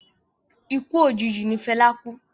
Ikú òjijì ní Fẹlá kú.